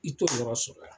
I t'o yɔrɔ sɔrɔ yan